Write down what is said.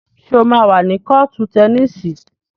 Ṣé o máa wà ní kọ́ọ̀tù tẹníìsì?